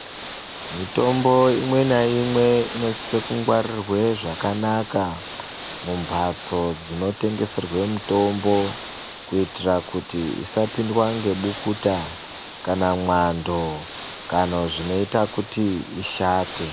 Mitombo imwe naimwe inosisa kungwarirwa zvakanaka mumbatso dzinotengeserwa mitombo kuitira kuti isapindwa nebukuta kana mwando kana zvinoita kuti ishate.